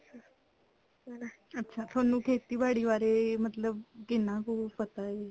ਅੱਛਾ ਥੋਨੂੰ ਖੇਤੀਬਾੜੀ ਬਾਰੇ ਮਤਲਬ ਕਿੰਨਾ ਕੁ ਪਤਾ ਹੈ